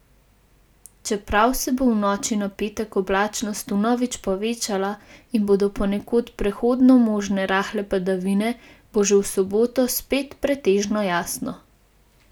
Čeprav se bo v noči na petek oblačnost vnovič povečala in bodo ponekod prehodno možne rahle padavine, bo že v soboto spet pretežno jasno.